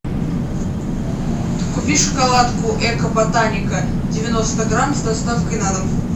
купи шоколадку эко ботаника девяносто грамм с доставкой на дом